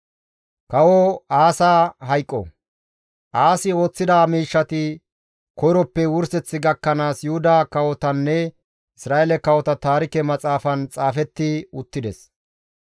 Aasi ooththida miishshati koyroppe wurseth gakkanaas Yuhuda kawotanne Isra7eele kawota taarike maxaafan xaafetti uttides.